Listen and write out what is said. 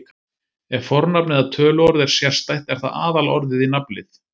Ef fornafn eða töluorð er sérstætt er það aðalorðið í nafnlið.